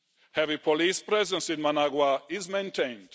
Heavy police presence in Managua is maintained.